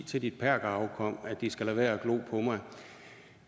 til dit perkerafkom at de skal lade være